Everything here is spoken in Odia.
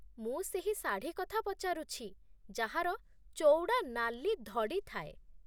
ମୁଁ ସେହି ଶାଢ଼ୀ କଥା ପଚାରୁଛି ଯାହାର ଚଉଡ଼ା ନାଲି ଧଡ଼ି ଥାଏ।